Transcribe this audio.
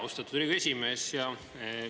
Austatud Riigikogu esimees!